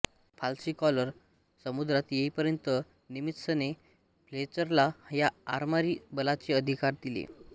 Halsey Coral समुद्रात येईपर्यंत निमित्झने फ्लेचरला या आरमारी बलाचे अधिकार दिले